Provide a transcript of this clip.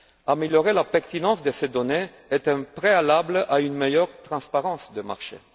Améliorer la pertinence de ces données est un préalable à une meilleure transparence des marchés.